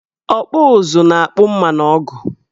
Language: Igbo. Ọkpụụzụ na-akpụ mma na ọgụ